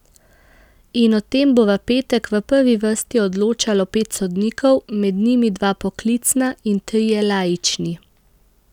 In o tem bo v petek v prvi vrsti odločalo pet sodnikov, med njimi dva poklicna in trije laični.